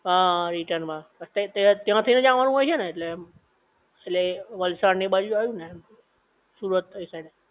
હઆ return માં, તય ત્યાં થઈ ને જ અવાનું હોય છે ને ઍટલે એમ, ઍટલે વલસાડ ને એ બાજુ જ આવ્યું ને? સુરત ને એ સાઇડ